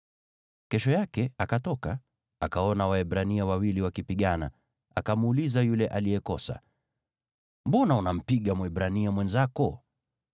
Kesho yake akatoka, akaona Waebrania wawili wakipigana. Akamuuliza yule aliyekosa, “Mbona unampiga Mwebrania mwenzako?”